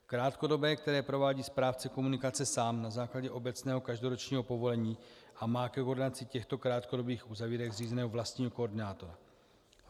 Krátkodobé, které provádí správce komunikace sám na základě obecného každoročního povolení a má ke koordinaci těchto krátkodobých uzavírek zřízeného vlastního koordinátora.